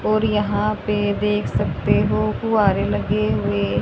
और यहां पे देख सकते हो कुंवारे लगे हुए--